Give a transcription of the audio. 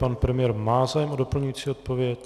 Pan premiér má zájem o doplňující odpověď.